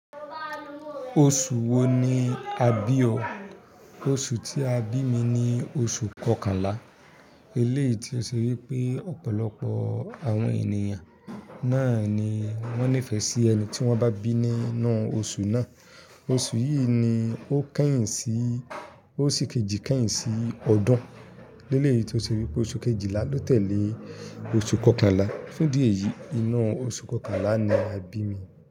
Oṣù wo ni a bí ọ? Oṣù tí a bí mi ni oṣù kọkànlá. Eléyìí tí ó ṣe wípé ọ̀pọ̀lọpọ̀ àwọn ènìyàn náà ni wón nífẹ̀ẹ́ sí ẹni tí wón bá bí nínú oṣù náà. Oṣù yìí ni ó kẹ́yìn sí, ó sì kejì kẹ́yìn sí ọdún. Eléyìí tó ṣe wípé oṣù kejìlá to tẹ̀lé oṣù kọkànlá. Fun idí eyìí, inú oṣù kọkànlá ni a bí mi.